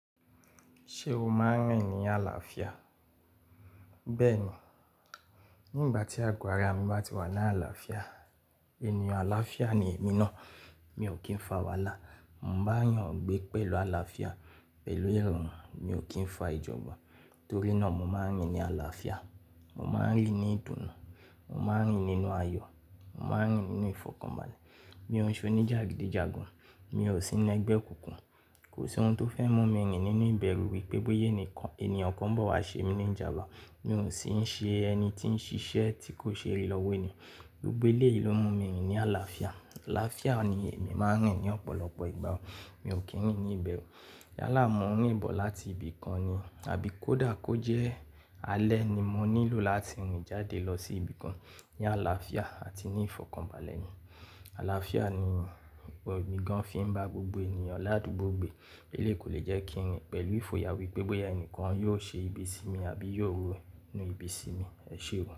Ṣé o máa ń rìn ní àlàáfíà? Bẹ́ẹ̀ni. Ní ìgbà tí àgo àrá mi bá ti wà ní àlàáfíà, ènìyàn àlàáfíà ni èmi náà. Mi ò kí ń fa wàhálà. Mo bá eyan gbẹ́ pẹ̀lú àlàáfíà, pẹ̀lú ìrọ̀rùn, mi ò kí ń fa ìjọgbon. Nítorí náà mo máa ń rìn ní àlàáfíà. Mo máa ń rìn ní ìdùnnú. Mo máa ń rìn nínú ayọ̀. Mo máa ń rìn nínú ìfọ̀kànbalẹ̀. Mi ò ń ṣe oníjàgídíjàgan. Mi ò sí inú ẹgbẹ́ òkùnkùn. Kò sí ohun tó fẹ́ mú mi rìn nínú ìbẹ̀rù wípé bóyá ẹnìkan, ènìyàn kan bọ̀ wá ṣe mi ní ìjàya. Mi ò sì ń ṣe ẹni tí ń ṣiṣẹ́ tí kò ṣe rì lọ́wọ́ ni. Gbogbo eléyìí ló mú mi rìn ní àlàáfíà. Àlàáfíà ni èmi máa ń rìn ní ọ̀pọ̀lọpọ̀ ìgbà. Mi ò kí ń rìn ní ìbẹ̀rù. Yálà mo n rìn bọ̀ láti ibì kan ni. Àbí kó dà kó jẹ́ alẹ́ ni mo nílò láti rìn jáde lọ sí ibì kan. Ní àlàáfíà àti ní ìfọ̀kànbalẹ̀ ni. Àlàáfíà ni emi gan fi ń bá gbogbo ènìyàn ládùúgbò gbé. Eléyìí kò lè jẹ́ kí n rìn pẹ̀lú ìfòyà wípé bóyá ẹnìkan yóò ṣe ibi sí mi àbí yóò ronú ibi sí mi. Ẹ ṣeun.